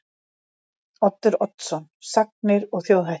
Oddur Oddsson: Sagnir og þjóðhættir.